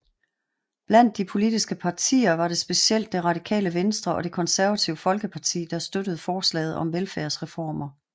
Blandt de politiske partier var det specielt Det Radikale Venstre og Det Konservative Folkeparti der støttede forslaget om velfærdsreformer